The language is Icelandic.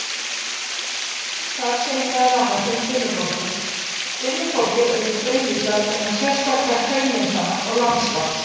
Þar segir meðal annars um Dimmuborgir: Dimmuborgir eru friðlýstar vegna sérstakra hraunmyndana og landslags.